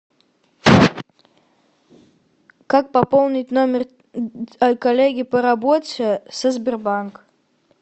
как пополнить номер коллеги по работе со сбербанк